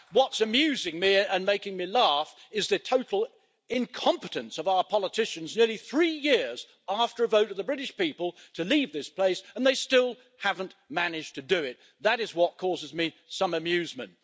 What's amusing me and making me laugh is the total incompetence of our politicians nearly three years after a vote of the British people to leave this place, they still haven't managed to do it. That is what causes me some amusement.